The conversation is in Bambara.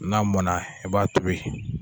N'a mɔna i b'a tobi.